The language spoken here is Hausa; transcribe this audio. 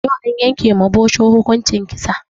Yau an yanke ma bosho hukunci kisa